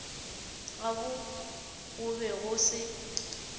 gabo go be go se